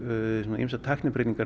ýmsar tæknibreytingar